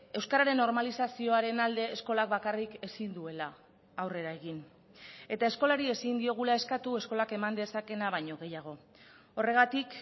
euskararen normalizazioaren alde eskolak bakarrik ezin duela aurrera egin eta eskolari ezin diogula eskatu eskolak eman dezakeena baino gehiago horregatik